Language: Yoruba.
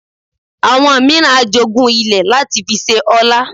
Àwọn mìíràn a jogún ilẹ̀ láti fi ṣe ọlá